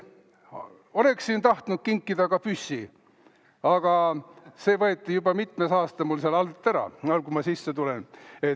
Oleksin tahtnud kinkida ka püssi, aga see võeti juba mitmes aasta mul seal all ära, nagu ma majja sisse tulen.